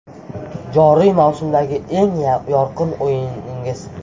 Joriy mavsumdagi eng yorqin o‘yiningiz?